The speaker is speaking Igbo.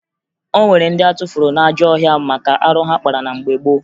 O nwere ndị atụfuru n'ajọ ọhịa maka arụ ha kpara na mgbe gboo